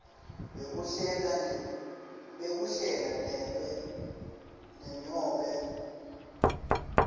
bekuhlela ne nobe